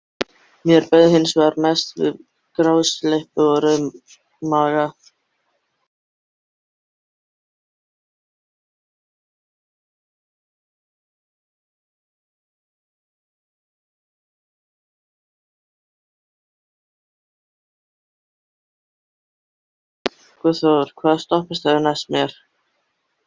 Guðþór, hvaða stoppistöð er næst mér?